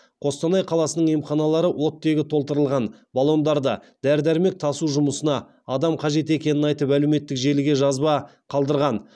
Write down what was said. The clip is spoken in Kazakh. қостанай қаласының емханалары оттегі толтырылған баллондарды дәрі дәрмек тасу жұмысына адам қажет екенін айтып әлеуметтік желіге жазба қалдырған